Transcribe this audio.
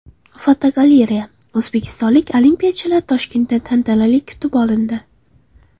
Fotogalereya: O‘zbekistonlik olimpiyachilar Toshkentda tantanali kutib olindi.